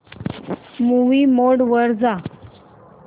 movie mode वर जा